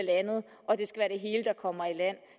kommer i land